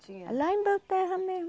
Tinha. Lá em Belterra mesmo.